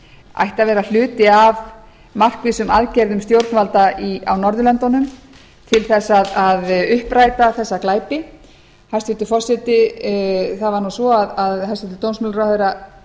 ætti að vera hluti af markvissum aðgerðum stjórnvalda á norðurlöndunum til þess að uppræta þessa glæpi hæstvirtur forseti það var nú svo að hæstvirtur dómsmálaráðherra